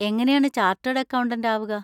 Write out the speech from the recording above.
എങ്ങനെയാണ് chartered accountant ആവുക?